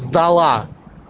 сдала